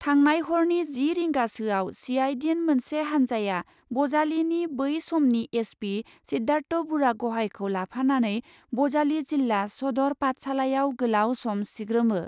थांनाय हरनि जि रिंगासोयाव सिआइडिन मोनसे हान्जाया बजालिनि बै समनि एसपि सिद्धार्थ बुरागहाइखौ लाफानानै बजालि जिल्ला सदर पाठसालायाव गोलाव सम सिग्रोमो ।